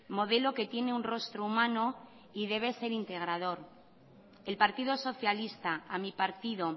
modelo que tiene un rostro humano y debe ser integrador el partido socialista a mi partido